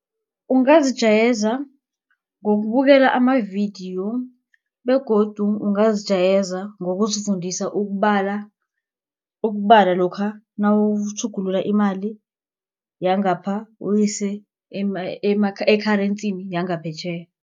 Ungazijayeza ngokubukela amavidiyo begodu ungazijayeza ngokuzifundisa ukubala. Ukubala lokha nawutjhugulula imali yangapha uyise e-currency yangaphetjheya.